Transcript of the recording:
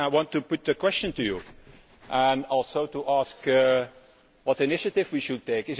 I want to put a question to you and also to ask what initiative we should take.